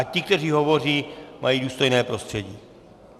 Ať ti, kteří hovoří, mají důstojné prostředí.